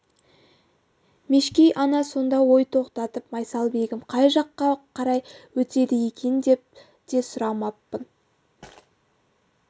мешкей ана сонда ой тоқтатып майсалбегім қай жаққа қарай өтеді екен деп те сұрамаппын